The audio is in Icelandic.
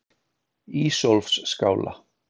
Ísólfsskála